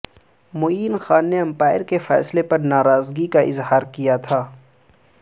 معین خان نے امپائر کے فیصلے پر ناراضگی کا اظہار کیا تھا